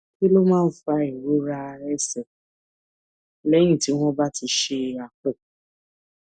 kí ló máa ń fa ìrora ẹsè léyìn tí wón bá ṣe àpò